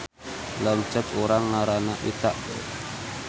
Lanceuk urang ngaranna Ita